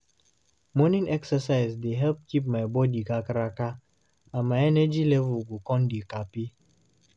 Morning exercise dey help keep my body kakaraka, and my energy level go come dey kampe.